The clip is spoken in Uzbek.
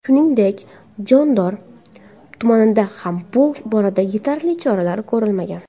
Shuningdek, Jondor tumanida ham bu borada yetarli choralar ko‘rilmagan.